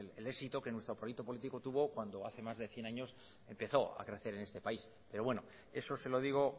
el éxito que nuestro proyecto político tuvo cuando hace más de cien años empezó a crecer en este país pero bueno eso se lo digo